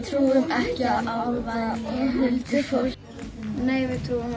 trúum ekki á álfa eða huldufólk nei við trúum